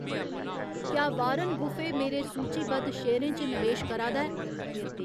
क्या Warren Buffett मेरे सूचीबद्ध शेयरें च नवेश करा दा ऐ